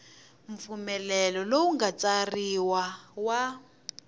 mpfumelelo lowu nga tsariwa wa